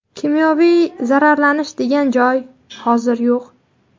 Kimyoviy zararlanish’ degan joy hozir yo‘q.